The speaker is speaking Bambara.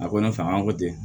A ko ne fɛ an ko ten